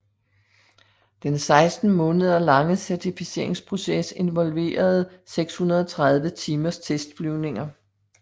Den 16 måneder lange certificeringsproces involverede 630 timers testflyvninger